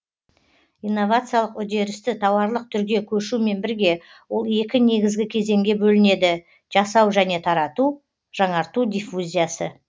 инновациялық үдерісті тауарлық түрге көшумен бірге ол екі негізгі кезеңге бөлінеді жасау және тарату жаңарту диффузиясы